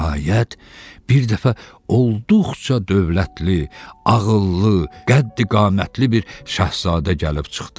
Nəhayət, bir dəfə olduqca dövlətli, ağıllı, qəddiqamətli bir şahzadə gəlib çıxdı.